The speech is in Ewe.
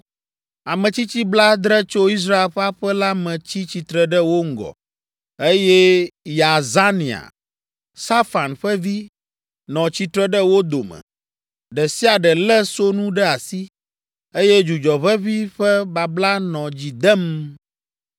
Ametsitsi blaadre tso Israel ƒe aƒe la me tsi tsitre ɖe wo ŋgɔ, eye Yaazania, Safan ƒe vi, nɔ tsitre ɖe wo dome. Ɖe sia ɖe lé sonu ɖe asi, eye dzudzɔ ʋeʋĩ ƒe babla nɔ dzi dem.